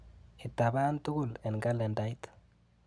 Itapan tukul eng kalendait.